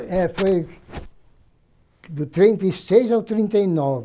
É, foi do trinta e seis ao trinta e nove